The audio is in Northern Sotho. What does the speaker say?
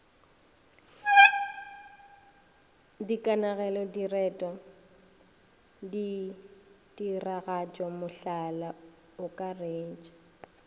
dikanegelo direto ditiragatšo mohlala akaretša